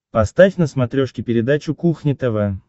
поставь на смотрешке передачу кухня тв